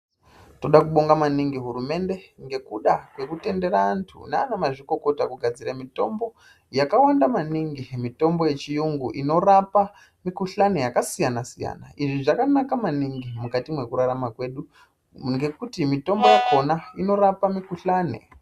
Tinoda kunonga maningi hurumende ngekuda kwekutendera antu nanamazvikokota kugadzira mitombo yakawanda maningi, mitombo yechiyungu inorapa mikuhlani yakasiyana siyana izvi zvakanaka maningi mukati mekurarama kwedu ngekuti mitombo yakona inorapa mikuhlani .